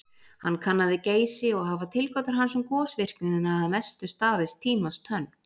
Hann kannaði Geysi og hafa tilgátur hans um gosvirknina að mestu staðist tímans tönn.